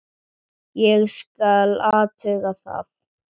Ég skal athuga það.